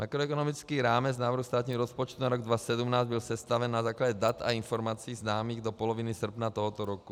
Makroekonomický rámec návrhu státního rozpočtu na rok 2017 byl sestaven na základě dat a informací známých do poloviny srpna tohoto roku.